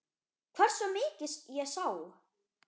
Hversu mikið ég sá?